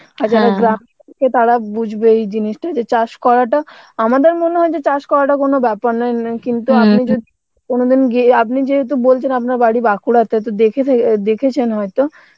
আর তারা বুঝবে এই জিনিসটা যে চাষ করাটা আমাদের মনে হয় যে চাষ করাটা কোন ব্যাপার না কিন্তু কোনদিন গিয়ে আপনি যেহেতু বলছেন আপনার বাড়ি বাঁকুড়াতে, তো দেখে থাকে দেখেছেন হয়তো